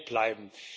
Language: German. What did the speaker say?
bleiben.